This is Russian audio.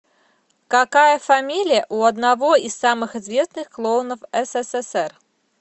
какая фамилия у одного из самых известных клоунов ссср